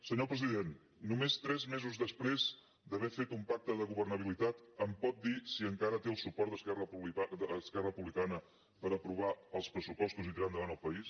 senyor president només tres mesos després d’haver fet un pacte de governabilitat em pot dir si encara té el suport d’esquerra republicana per aprovar els pressupostos i tirar endavant el país